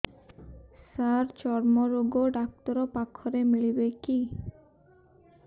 ସାର ଚର୍ମରୋଗ ଡକ୍ଟର ପାଖରେ ମିଳିବେ କି